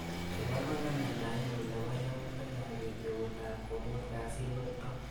Ibarwa kalendainyunebo yautikap bet beutap komut kasitnito.